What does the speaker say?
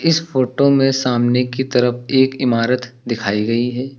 इस फोटो में सामने की तरफ एक इमारत दिखाई गई है।